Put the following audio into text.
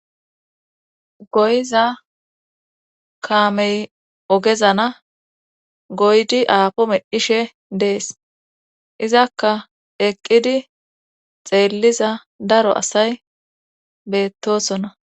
Goyiza kaamey ogezana goydi aapo medhishe dees izakka eqqidi xeelliza daro asay beettosona.